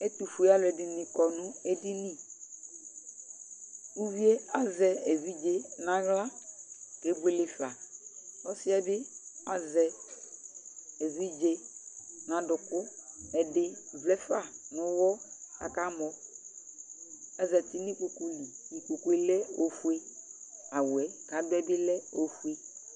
Ɛtʊfoe alʊ ɛdɩnɩ kɔ nʊ edini Uvi yɛ azɛ evidze nʊ aɣla keboele fa Ɔsɩ yɛ bɩ azɛ evidze nʊ adʊkʊ Ɛdɩ vlɛ fa nʊ ɔwɔ akamɔ Azatɩ nʊ ikpoku li Ikpoku lɛ ofoe Awʊ yɛ kadʊɛ bɩlɛ ofoe